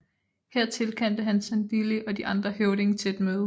Her tilkaldte han Sandili og de andre høvdinge til et møde